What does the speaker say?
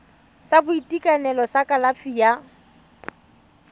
sa boitekanelo sa kalafi ya